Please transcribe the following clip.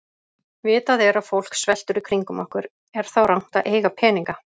Vitað er að fólk sveltur í kringum okkur, er þá rangt að eiga peninga?